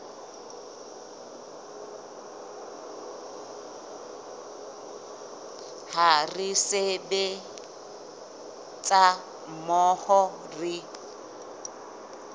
ha re sebetsa mmoho re